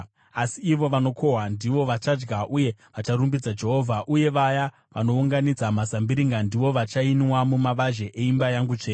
asi ivo vanokohwa ndivo vachadya uye vacharumbidza Jehovha, uyewo vaya vanounganidza mazimbiringa ndivo vachainwa mumavazhe eimba yangu tsvene.”